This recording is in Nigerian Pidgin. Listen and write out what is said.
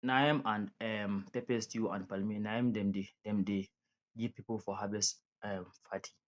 na yam and um pepper stew and palmi na im dem dey im dem dey give people for harvest um party